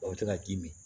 O bɛ to ka k'i min